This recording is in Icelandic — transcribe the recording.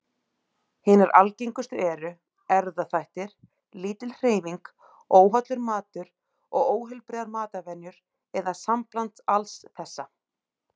Hinar algengustu eru erfðaþættir, lítil hreyfing, óhollur matur og óheilbrigðar matarvenjur, eða sambland alls þessa.